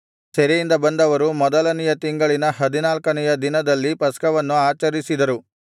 ಸೆರೆಯಿಂದ ಬಂದವರು ಮೊದಲನೆಯ ತಿಂಗಳಿನ ಹದಿನಾಲ್ಕನೆಯ ದಿನದಲ್ಲಿ ಪಸ್ಕವನ್ನು ಆಚರಿಸಿದರು